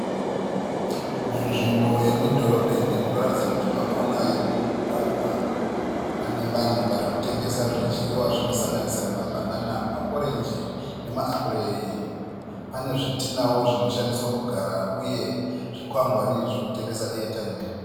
Munzvimbo yemudhorobheni munoratidza kuti pakona pemugwagwa. Pane vanhu varikutengesa zvidyiwa zvinosanganisira mabhanana maorenji nemaapureyi. Pane zvitinawo zvinoshandiswa kugara uye zvikwangwari zvekutengesa eya taimi.